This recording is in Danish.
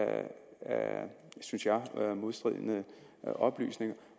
synes jeg modstridende oplysninger